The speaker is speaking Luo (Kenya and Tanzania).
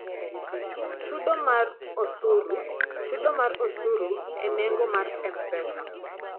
Chudo mar osuru: Chudo mar osuru e nengo mar M-Pesa.